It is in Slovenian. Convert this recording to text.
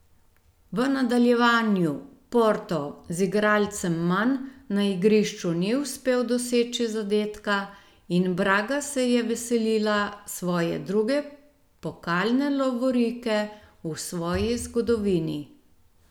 V nadaljevanju Porto z igralcem manj na igrišču ni uspel doseči zadetka in Braga se je veselila svoje druge pokalne lovorike v svoji zgodovini.